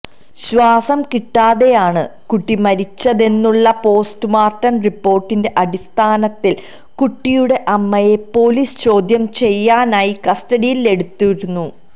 ശ്വാസം കിട്ടാതെയാണ് കുട്ടി മരിച്ചതെന്നുള്ള പോസ്റ്റുമോര്ട്ടം റിപ്പോര്ട്ടിന്റെ അടിസ്ഥാനത്തില് കുട്ടിയുടെ അമ്മയെ പൊലീസ് ചോദ്യം ചെയ്യാനായി കസ്റ്റഡിയിലെടുത്തിരുന്നു